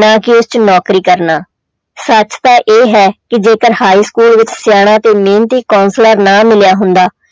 ਨਾ ਕਿ ਉਹ 'ਚ ਨੌਕਰੀ ਕਰਨਾ, ਸੱਚ ਤਾਂ ਇਹ ਹੈ ਕਿ ਜੇਕਰ high school ਵਿੱਚ ਸਿਆਣਾ ਤੇ ਮਿਹਨਤੀ high school ਨਾ ਮਿਲਿਆ ਹੁੰਦਾ,